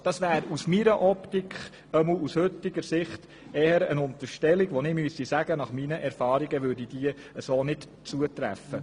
Aus meiner Optik ist dies aus heutiger Sicht eher eine Unterstellung, die nach meinen Erfahrungen nicht zutrifft.